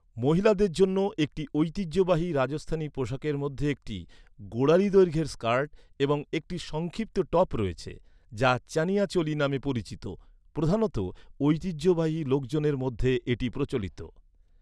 মহিলাদের জন্য একটি ঐতিহ্যবাহী রাজস্থানি পোশাকের মধ্যে একটি, গোড়ালি দৈর্ঘ্যের স্কার্ট এবং একটি সংক্ষিপ্ত টপ রয়েছে, যা চানিয়া চোলি নামে পরিচিত। প্রধানত, ঐতিহ্যবাহী লোকজনের মধ্যে এটি প্রচলিত।